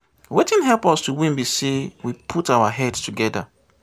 Wetin help us to win be say we put our head together